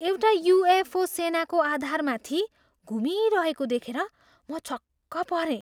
एउटा युएफओ सेनाको आधारमाथि घुमिरहेको देखेर म छक्क परेँ।